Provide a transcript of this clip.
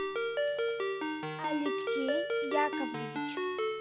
алексей яковлевич